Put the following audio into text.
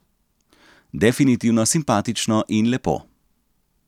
Definitivno simpatično in lepo.